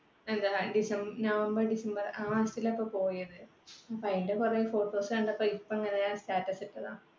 November, December ലാണ് പോയത്. അപ്പൊ അതിന്റെ കുറെ photos കണ്ടപ്പോ ഇപ്പൊങ്ങനെ status ഇട്ടതാ